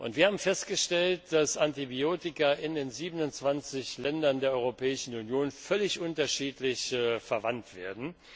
Wir haben festgestellt, dass Antibiotika in den 27 Ländern der Europäischen Union völlig unterschiedlich verwendet werden.